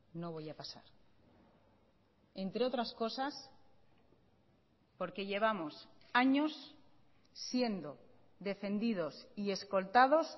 no voy a pasar entre otras cosas porque llevamos años siendo defendidos y escoltados